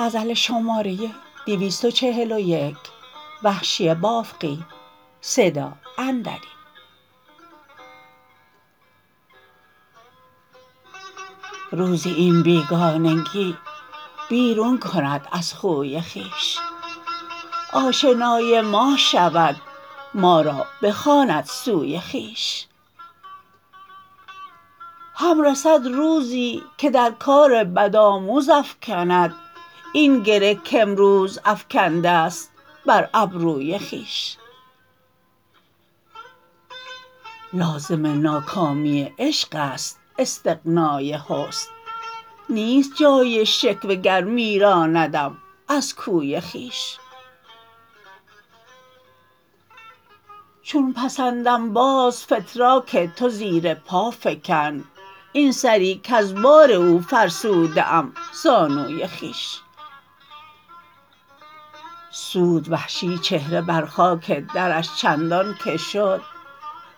روزی این بیگانگی بیرون کند از خوی خویش آشنای ما شود مارا بخواند سوی خویش هم رسد روزی که در کار بد آموز افکند این گره کامروز افکنده ست بر ابروی خویش لازم ناکامی عشق است استغنای حسن نیست جای شکوه گر میراندم از کوی خویش چون پسندم باز فتراک تو زیر پا فکن این سری کز بار او فرسوده ام زانوی خویش سود وحشی چهره بر خاک درش چندان که شد